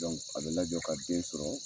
a bɛ lajɔ ka den sɔrɔ